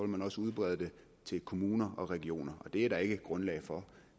vil også udbrede det til kommuner og regioner det er der ikke grundlag for